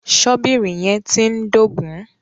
Ṣọ́bìrì yẹn ti ń dógùn-ún.